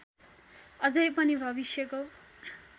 अझै पनि भविष्यको